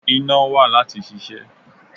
Iná wà láti ṣiṣẹ́.